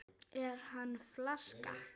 Er hann flaska?